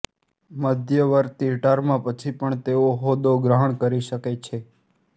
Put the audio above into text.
મધ્યવર્તી ટર્મ પછી પણ તેઓ હોદ્દો ગ્રહણ કરી શકે છે